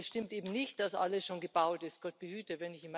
Es stimmt eben nicht, dass alles schon gebaut ist Gott behüte.